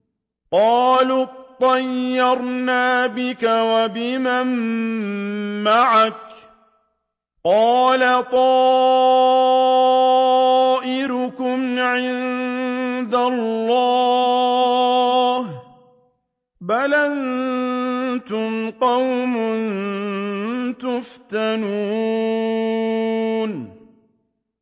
قَالُوا اطَّيَّرْنَا بِكَ وَبِمَن مَّعَكَ ۚ قَالَ طَائِرُكُمْ عِندَ اللَّهِ ۖ بَلْ أَنتُمْ قَوْمٌ تُفْتَنُونَ